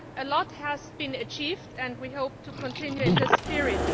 A lot has been achieved and we hope to continue in the same spirit.